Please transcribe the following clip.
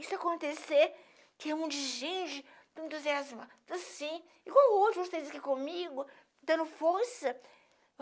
Isso acontecer, tinha um monte de gente tão entusiasmada assim, igual outros vocês aqui comigo, dando força.